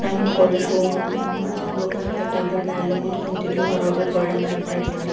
ನಾವು ಕೊಲೆಜ್ ಹೋಗಾಮುಂದ ಏನ್ಮಾಡ್ತಿದ್ವಿಪ್ಪಾ ಇಂತ ಟೇಬಲ್ ಮೇಲೆಲ್ಲಾ ಕುತ್ಕೊಂತಿದ್ವಿ ಹೊರಗ್ ಗಾರ್ಡನ್ ಅಲ್ಲಿ ಆಟ ಆಡ್ತಿದ್ವಿ.